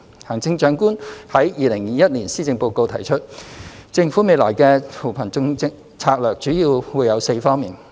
行政長官在2021年施政報告中提出，政府未來的扶貧策略主要會有4方面。